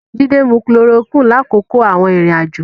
Jídé mu chloroquine lákòókò àwọn ìrìn-àjò.